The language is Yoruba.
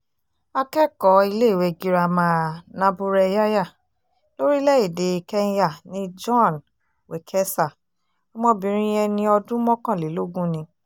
akẹ́kọ̀ọ́ iléèwé girama naburereya lórílẹ̀-èdè kẹ́ńyà ni joan wekesa ọmọbìnrin ẹni ọdún mọ́kànlélógún ni